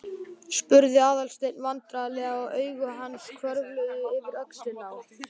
spurði Aðalsteinn vandræðalega og augu hans hvörfluðu yfir öxlina á